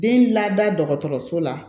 Den lada dɔgɔtɔrɔso la